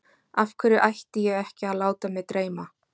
Af hverju ætti ég ekki að láta mig dreyma?